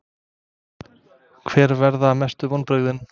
Hver verða mestu vonbrigðin?